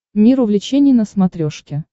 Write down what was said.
мир увлечений на смотрешке